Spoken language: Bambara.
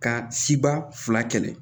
Ka siba fila kɛlɛ